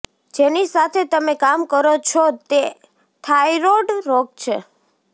જેની સાથે તમે કામ કરો છો તે થાઇરોઇડ રોગ છે